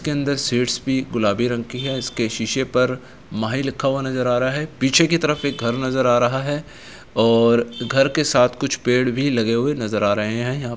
के अंदर सीट्स भी गुलाबी रंग की हैं | इसके शीशे पर माही लिखा हुआ नजर आ रहा है | पीछे की तरफ एक घर नजर आ रहा है और घर के साथ कुछ पेड़ भी लगे हुए नजर आ रहे हैं | यहाँ --